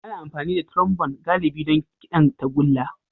Ana amfani da Trombone galibi don kiɗan tagulla.